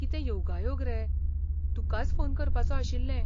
कितें योगायोग रे, तुकाच फोन करपाचों आशिल्लें.